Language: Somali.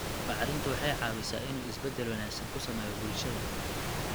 Bacrintu waxa ay caawisaa in uu isbedel wanaagsan ku sameeyo bulshada.